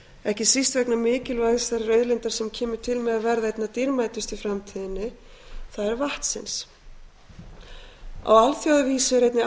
ekki síst vegna mikilvægis þeirrar auðlindar sem kemur til með að verða einna dýrmætust í framtíðinni það er vatnsins á alþjóðavísu er einnig æ